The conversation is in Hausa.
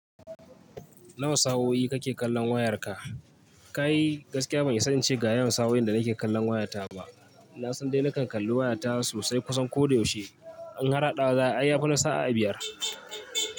Nawa sa'o'i kake kallon wayarka? Kai gaskiya ban isa ince ga yawan sa'o'in da nake kallon wayata ba. Na san dai na kan kalli wayata sosai kusan ko da yaushe. In har hadawa za'ayi ai yafi na sa'a biyar.